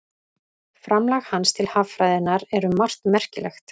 Framlag hans til haffræðinnar er um margt merkilegt.